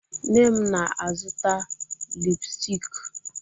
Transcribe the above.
Nne m na-azụta lipụstik.